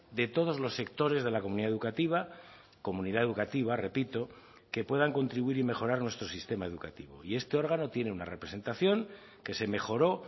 de todos los sectores de la comunidad educativa comunidad educativa repito que puedan contribuir y mejorar nuestro sistema educativo y este órgano tiene una representación que se mejoró